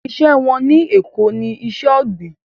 Iṣẹ́ wọn ní Èko ní iṣẹ́ ọ̀gbìn